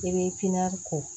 I bɛ ko